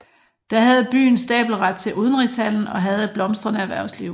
Da havde byen stabelret til udenrigshandel og havde et blomstrende erhvervsliv